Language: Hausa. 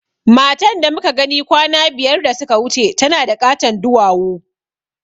Matan da muka gani kwana biyar da suka wuce tana da ƙaton duwawu